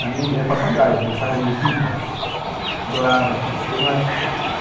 A minha era papagaia, eu gostava de pipa, adorava pipa. Teve